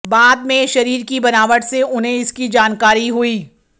बाद में शरीर की बनावट से उन्हें इसकी जानकारी हुई